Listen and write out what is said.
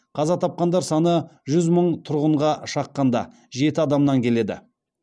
қаза тапқандар саны жүз мың тұрғынға шаққанда жеті адамнан келеді